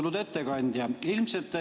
Austatud ettekandja!